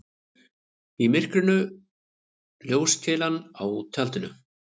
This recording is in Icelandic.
Í myrkrinu ljóskeilan á tjaldinu.